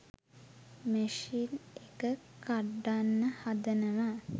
machine එක කඩන්න හදනවා